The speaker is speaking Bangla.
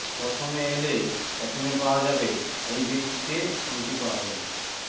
প্রথমে এলে প্রথমে পাওয়া যাবে এই ভিত্তিতে ফোনটি পাওয়া যাবে